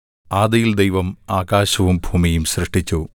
ആദിയിൽ ദൈവം ആകാശവും ഭൂമിയും സൃഷ്ടിച്ചു